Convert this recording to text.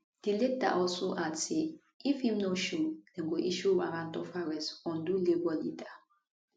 di letter also add say if im no show dem go issue warrant of arrest on do labour leader